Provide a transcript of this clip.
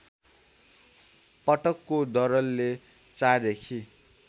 पटकको दरले ४ देखि